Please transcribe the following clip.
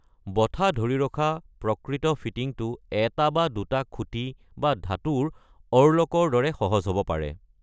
ব'ঠা ধৰি ৰখা প্ৰকৃত ফিটিংটো এটা বা দুটা খুঁটি বা ধাতুৰ অ'ৰলকৰ দৰে সহজ হ’ব পাৰে।